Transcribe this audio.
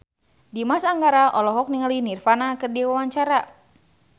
Dimas Anggara olohok ningali Nirvana keur diwawancara